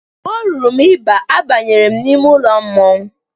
Mgbe o ruru m i ba, abanyere m n'ime ụlọ mmọnwụ.